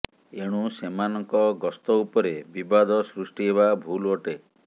ଏଣୁ ସେମାନଙ୍କ ଗସ୍ତ ଉପରେ ବିବାଦ ସୃଷ୍ଟି ହେବା ଭୁଲ ଅଟେ